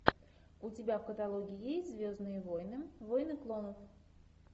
у тебя в каталоге есть звездные войны войны клонов